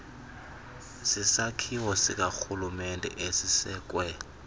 sisakhiwo sikarhulumente esisekwe